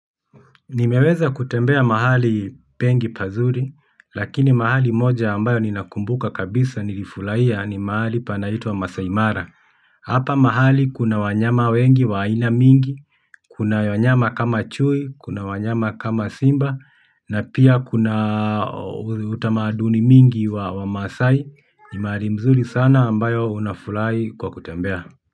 Nimeweza kutembea mahali pengi pazuri, lakini mahali moja ambayo ninakumbuka kabisa nilifurahia ni mahali panaitwa Maasai Mara. Hapa mahali kuna wanyama wengi wa aina mingi, kuna wanyama kama chui, kuna wanyama kama simba, na pia kuna utamaduni mingi wa wamaasai ni mahali mzuri sana ambayo unafurahi kwa kutembea.